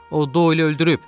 O Doili öldürüb.